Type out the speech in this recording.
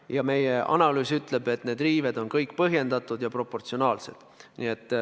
Ja meie analüüs ütleb, et need riived on kõik põhjendatud ja proportsionaalsed.